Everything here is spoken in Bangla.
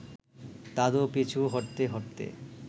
দাদু পিছু হটতে হটতে